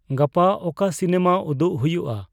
ᱜᱟᱯᱟ ᱚᱠᱟ ᱥᱤᱱᱮᱢᱟ ᱩᱫᱩᱜ ᱦᱩᱭᱩᱜᱼᱟ